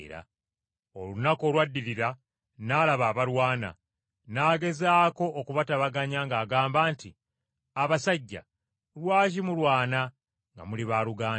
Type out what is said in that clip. Olunaku olwaddirira n’alaba abalwana. N’agezaako okubatabaganya ng’abagamba nti, ‘Abasajja lwaki mulwana nga muli baaluganda?’